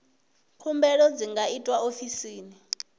khumbelo dzi nga itwa ofisini